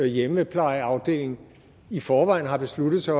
hjemmeplejeafdeling i forvejen har besluttet sig